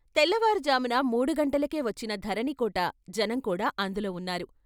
తెల్లవారుజామున మూడు గంటలకే వచ్చిన ధరణికోట జనం కూడా అందులో వున్నారు.